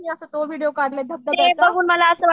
असं तो व्हिडीओ काढलाय धबधब्याचा.